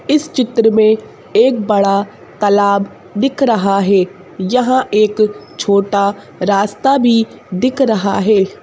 इस चित्र में एक बड़ा तालाब दिख रहा है यहाँ एक छोटा रास्ता भी दिख रहा है।